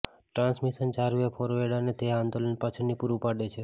transmission ચાર way forward અને તે જ આંદોલન પાછળની પૂરું પાડે છે